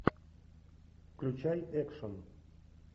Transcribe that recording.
включай экшн